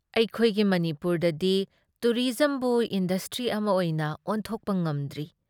ꯑꯩꯈꯣꯏꯒꯤ ꯃꯅꯤꯄꯨꯔꯗꯗꯤ ꯇꯨꯔꯤꯁꯖꯝꯕꯨ ꯏꯟꯗꯁꯇ꯭ꯔꯤ ꯑꯃ ꯑꯣꯏꯅ ꯑꯣꯟꯊꯣꯛꯄ ꯉꯝꯗ꯭ꯔꯤ ꯫